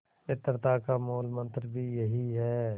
मित्रता का मूलमंत्र भी यही है